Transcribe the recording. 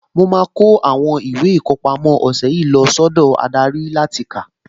Mo ń kó àwọn ìwé ìkọpámọ́ ọ̀sẹ̀ yìí lọ sọ́dọ̀ adarí láti kà